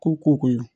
Ko ko ko ye